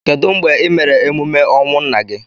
Kedu mgbe I mere emume ọnwụ nna gị?